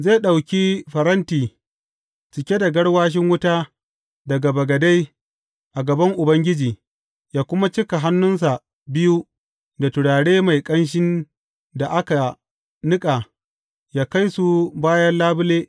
Zai ɗauki faranti cike da garwashin wuta daga bagade a gaban Ubangiji, yă kuma cika hannunsa biyu da turare mai ƙanshin da aka niƙa yă kai su bayan labule.